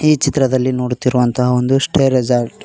ಈ ಚಿತ್ರದಲ್ಲಿ ನೋಡುತ್ತಿರುವಂತಹ ಒಂದು ಸ್ಟೇ ರೆಜಾರ್ಟ್ --